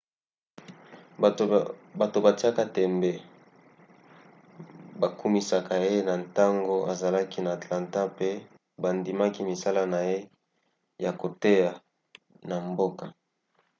bato batiaka tembe bakumisaka ye na ntango azalaki na atlanta mpe bandimaki misala na ye ya koteya na mboka